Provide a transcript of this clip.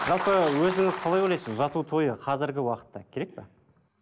жалпы өзіңіз қалай ойлайсыз ұзату тойы қазіргі уақытта керек пе